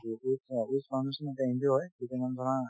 foundation এটা NGO হয় যিটো মানে ধৰা